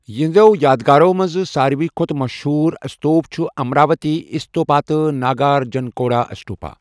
یہنٛزو یادگارو منٛز ساروےٕ کھۅتہٕ مشہور استوپ چھُ امراوتی استوپا تہٕ ناگارجنکونڈا اسٹوپا۔